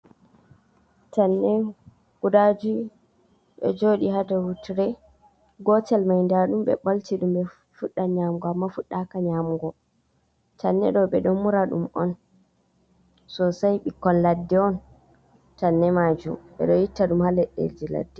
Tanne guda jui ɗo joɗi ha ɗau tire gotel mai ndaɗum be bolti ɗum be fudda nyamugo amma fuɗɗaka nyamugo tanne ɗo ɓeɗo mura ɗum on sosai bikkon laɗɗe on tanne majum ɓeɗo edo itta ɗum ha leɗɗe ji ladde.